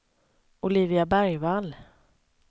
Olivia Bergvall